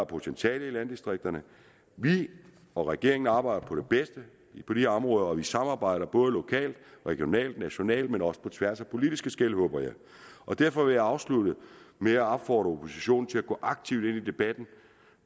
potentiale i landdistrikterne vi og regeringen arbejder for det bedste på de områder og vi samarbejder både lokalt regionalt og nationalt men også på tværs af politiske skel og derfor vil jeg afslutte med at opfordre oppositionen til at gå aktivt ind i debatten